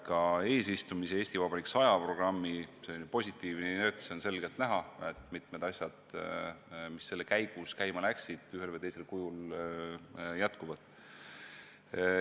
Ka eesistumise ja "Eesti Vabariik 100" programmi positiivne inerts on selgelt näha: mitmed asjad, mis nende käigus käima läksid, ühel või teisel kujul jätkuvad.